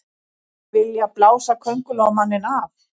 Vilja blása Kóngulóarmanninn af